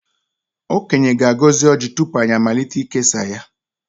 Okenye ga-agọzi ojị tupu anyị amalite ikesa ya.